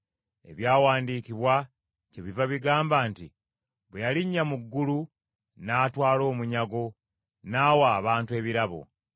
Ebyawandiikibwa kyebiva bigamba nti, “Bwe yalinnya mu ggulu, n’atwala omunyago, n’awa abantu ebirabo.”